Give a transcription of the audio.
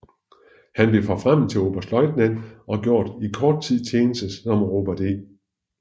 Han blev forfremmet til oberstløjtnant og gjorde i kort tid tjeneste som Robert E